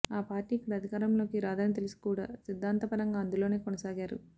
ఆ పార్టీ ఇక్కడ అధికారంలోకి రాదని తెలిసి కూడా సిద్ధాంతపరంగా అందులోనే కొనసాగారు